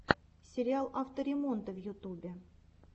сериал авто ремонта в ютубе